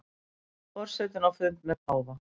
Forsetinn á fundi með páfa